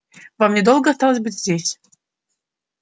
вам недолго осталось быть здесь